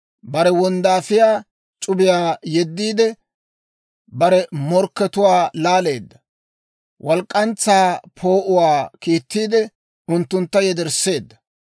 Bare wonddaafiyaa c'ubiyaa yeddiide, Bare morkkatuwaa laaleedda; walk'k'antsaa poo'uwaa kiittiide, unttuntta yedersseedda.